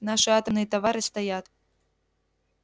наши атомные товары стоят